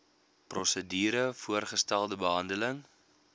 prosedure voorgestelde behandeling